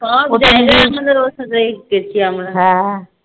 সব জায়গায় আমাদের ওর সাথে গিয়েছিলাম আমরা